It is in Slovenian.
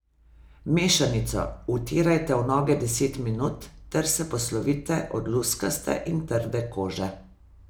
Mešanico vtirajte v noge deset minut ter se poslovite od luskaste in trde kože.